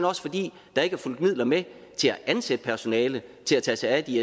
også fordi der ikke er fulgt midler med til at ansætte personale til at tage sig af de